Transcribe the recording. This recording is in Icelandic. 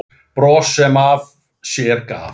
Bros sem af sér gaf.